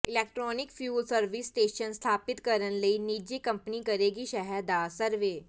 electronic fuel service station ਸਥਾਪਿਤ ਕਰਨ ਲਈ ਨਿੱਜੀ ਕੰਪਨੀ ਕਰੇਗੀ ਸ਼ਹਿਰ ਦਾ ਸਰਵੇ